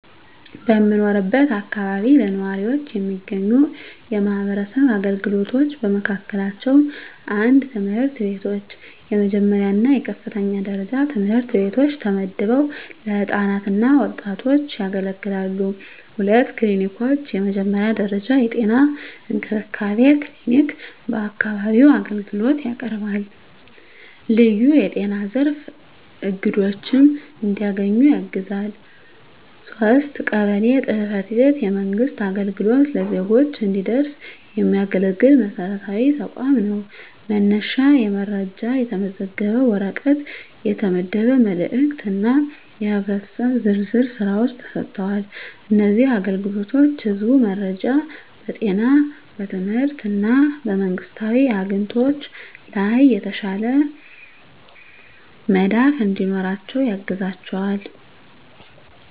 በምኖርበት አካባቢ ለነዋሪዎች የሚገኙ የማህበረሰብ አገልግሎቶች በመካከላቸው፣ 1. ትምህርት ቤቶች፣ የመጀመሪያ እና የከፍተኛ ደረጃ ትምህርት ቤቶች ተመድበው ለህፃናት እና ወጣቶች ያገለግላሉ። 2. ክሊኒኮች፣ የመጀመሪያ ደረጃ የጤና እንክብካቤ ክሊኒክ በአካባቢው አገልግሎት ያቀርባል፣ ልዩ በጤና ዘርፍ አግድዶች እንዲያገኙ ያግዛል። 3. ቀበሌ ጽ/ቤት፣ የመንግሥት አገልግሎት ለዜጎች እንዲደረስ የሚያገለግል መሰረታዊ ተቋም ነው፤ መነሻ የመረጃ፣ የተመዘገበ ወረቀት፣ የተመደበ መልእክት እና የህብረተሰብ ዝርዝር ሥራዎች ተሰጥተዋል። እነዚህ አገልግሎቶች ህዝቡ በመረጃ፣ በጤና፣ በትምህርት እና በመንግስታዊ አግኝቶች ላይ የተሻለ መዳፍ እንዲኖራቸው ያግዛቸዋል።